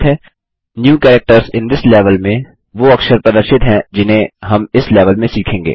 इस लेवल में नये अक्षर वो अक्षर प्रदर्शित हैं जिन्हें हम इस लेवल में सीखेंगे